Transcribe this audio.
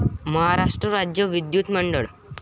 महाराष्ट्र राज्य विद्युत मंडळ